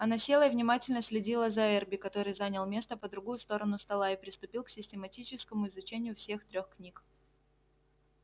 она села и внимательно следила за эрби который занял место по другую сторону стола и приступил к систематическому изучению всех трёх книг